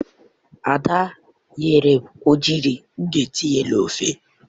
Ada nyere m ogiri m ga-etinye n'ofe